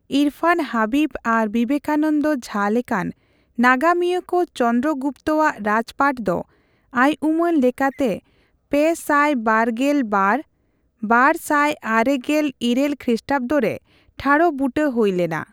ᱤᱨᱯᱷᱟᱱ ᱦᱟᱵᱤᱵ ᱟᱨ ᱵᱤᱵᱮᱠᱟᱱᱚᱱᱫᱚ ᱡᱷᱟ ᱞᱮᱠᱟᱱ ᱱᱟᱜᱟᱢᱤᱭᱟᱹᱠᱩ ᱪᱚᱱᱫᱨᱚ ᱜᱩᱯᱛᱚᱣᱟᱜ ᱨᱟᱡᱯᱟᱴᱷ ᱫᱚ ᱟᱭᱩᱢᱟᱹᱱ ᱞᱮᱠᱟᱛᱮ ᱯᱮᱥᱟᱭᱵᱟᱨᱜᱮᱞᱵᱟᱨᱼᱵᱟᱨᱥᱟᱭᱟᱨᱮᱜᱮᱞᱤᱨᱟᱹᱞ ᱠᱷᱨᱤᱥᱴᱟᱵᱫᱚ ᱨᱮ ᱴᱷᱟᱲ ᱵᱩᱴᱟᱹ ᱦᱩᱭᱞᱮᱱᱟ ᱾